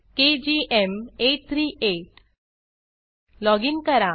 केजीएम838 login करा